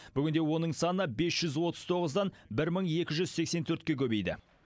бүгінде оның саны бес жүз отыз тоғыздан бір мың екі жүз сексен төртке көбейді